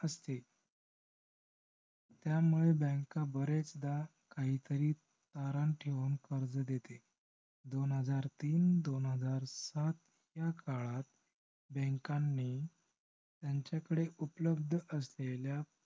त्यामुळे bank बरेचदा काहीतरी गहाण ठेऊन कर्ज देते. दोन हजार तीन आणि दोन हजार सात ह्या काळात bank नी त्यांच्याकडे उपलब्ध असलेल्या